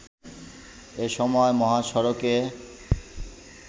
এ সময় মহাসড়কে